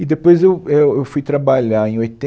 E depois eu é eu fui trabalhar em